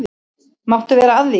Máttu vera að því?